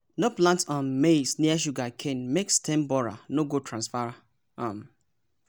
no plant um maize near sugarcane make stem borer no go transfer! um